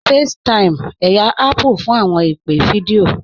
FaceTime, ẹyà Apple fún awọn ìpè̩ fídíọ̀